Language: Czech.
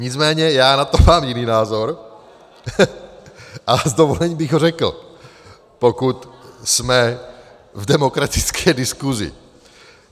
Nicméně já na to mám jiný názor a s dovolením bych ho řekl, pokud jsme v demokratické diskusi.